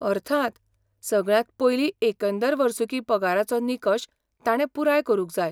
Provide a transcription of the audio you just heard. अर्थांत, सगळ्यांत पयलीं एकंदर वर्सुकी पगाराचो निकश ताणे पुराय करूंक जाय.